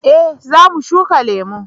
eh za mu shuka lemo